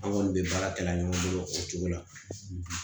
An kɔni bɛ baara kalan ɲɔgɔn bolo o cogo la